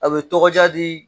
A bɛ tɔgɔ diya di